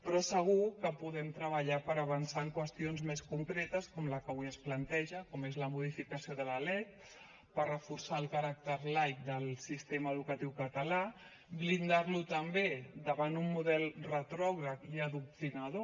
però segur que podem treballar per avançar en qüestions més concretes com la que avui es planteja com és la modificació de la lec per reforçar el caràcter laic del sistema educatiu català blindar lo també davant d’un model retrògrad i adoctrinador